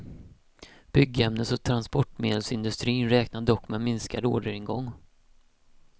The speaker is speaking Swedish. Byggämnes och transportmedelsindustrin räknar dock med minskad orderingång.